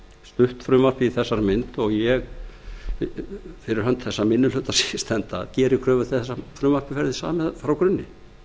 stutt frumvarpið í þessari mynd og ég fyrir hönd þess minni hluta sem ég stend að geri kröfu til að frumvarpið verði samið frá grunni